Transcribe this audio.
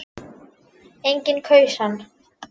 Enginn kaus hann.